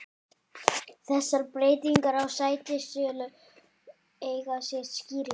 Þessar breytingar á sætistölu eiga sér skýringar.